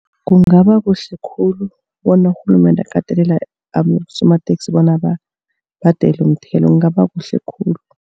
Kungaba kuhle khulu bona urhulumende akatelele abosomateksi bona babhadele umthelo kungaba kuhle khulu.